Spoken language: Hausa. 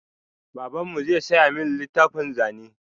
Babanmu zai saya min littafin zane.